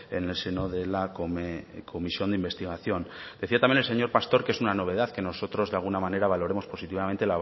en el seno de la comisión de investigación decía también el señor pastor que es una novedad que nosotros de alguna manera valoremos positivamente